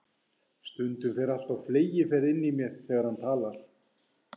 Stundum fer allt á fleygiferð innan í mér þegar hann talar.